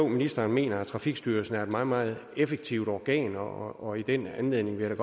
ministeren mener at trafikstyrelsen er et meget meget effektivt organ og og i den anledning vil jeg